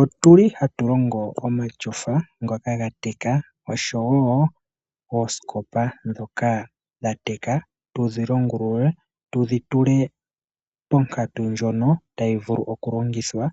Otuli hatu longo omatyofa ngoka ga teka noshowo oosikopa ndhoka dha teka tudhi longulule, tudhi tule ponkatu ndjono tayi vulu oku longithwa